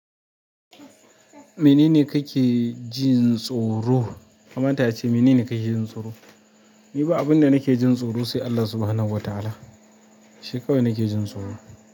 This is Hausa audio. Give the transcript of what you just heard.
Menene kake jin tsoro? Mamanta ya ce menene kake jin tsoro? Ni ba abunda nike jin tsoro sai Allah subhanahu wata'ala shi kawai nike jin tsoro.